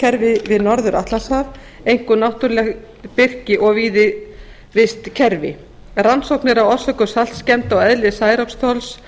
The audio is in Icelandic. skógarvistkerfi við norður atlantshaf einkum náttúruleg birki og víðivistkerfi rannsóknir á orsökum saltskemmda og eðli særoksþols